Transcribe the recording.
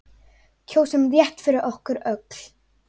Kjósum rétt fyrir okkur öll.